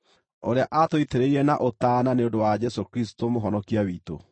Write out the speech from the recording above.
ũrĩa aatũitĩrĩirie na ũtaana nĩ ũndũ wa Jesũ Kristũ Mũhonokia witũ,